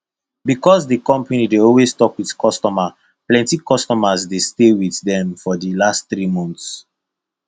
because di company dey always talk wit customer plenty customers dey stay with dem for di last three months